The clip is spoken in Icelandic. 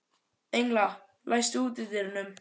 Engla, læstu útidyrunum.